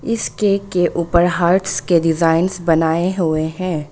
इस केक के ऊपर हार्ट्स के डिजाइनस बनाए हुए हैं।